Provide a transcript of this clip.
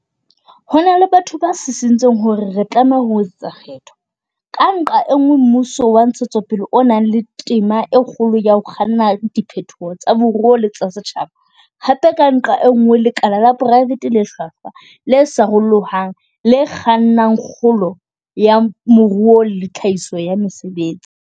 Ho na le batho ba sisintseng hore re tlameha ho etsa kgetho, ka nqa e nngwe, mmuso wa ntshetsopele o nang le tema e kgolo ya ho kganna diphetoho tsa moruo le tsa setjhaba, hape, ka nqa e nngwe, lekala la poraefete le hlwahlwa, le sarolohang, le kgannang kgolo ya moruo le tlhahiso ya mesebetsi.